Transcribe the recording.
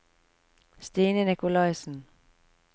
Stine Nicolaysen